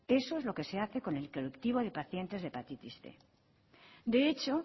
esto es lo que se hace con el colectivo de pacientes de hepatitis cien de hecho